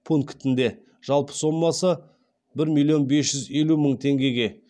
пунктінде жалпы сомасы бір миллион бес жүз елу мың теңгеге